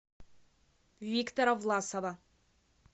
виктора власова